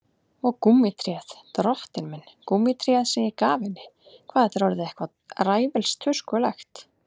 Og gúmmítréð, drottinn minn, gúmmítréð sem ég gaf henni, hvað þetta er orðið eitthvað ræfilstuskulegt.